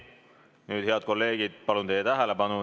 Nüüd, head kolleegid, palun teie tähelepanu.